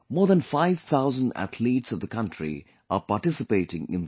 More than 5 thousand athletes of the country are participating in this